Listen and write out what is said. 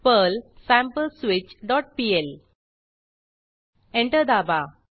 Perl sampleswitchपीएल enter दाबा